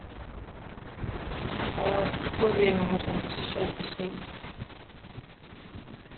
в какое время можно посещать бассейн